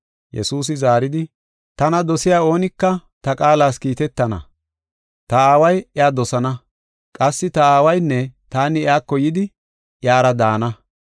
Yesuusi zaaridi, “Tana dosiya oonika ta qaalas kiitetana. Ta Aaway iya dosana. Qassi ta Aawaynne taani iyako yidi iyara daana.